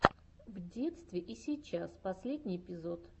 в детстве и сейчас последний эпизод